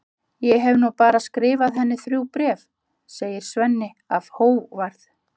Ég hef nú bara skrifað henni þrjú bréf, segir Svenni af hógværð.